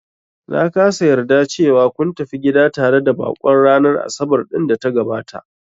Na kasa yarda cewa kun tafi gida tare da baƙon ranar Asabar ɗin da ta gabata